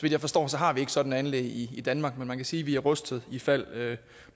jeg forstår har vi ikke sådanne anlæg i i danmark men man kan sige at vi er rustet ifald